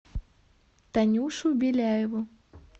танюшу беляеву